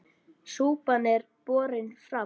Súpan er borin fram.